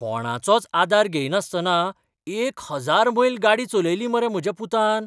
कोणाचोच आदार घेयनासतना एक हजार मैल गाडी चलयली मरे म्हाज्या पुतान!